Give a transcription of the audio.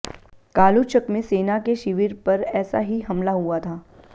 कालूचक में सेना के शिविर पर ऐसा ही हमला हुआ था